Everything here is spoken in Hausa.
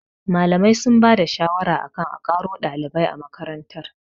Malamai sun ba da shawara akan a ƙaro ɗalibai a makarantar